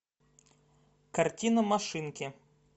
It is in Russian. картина машинки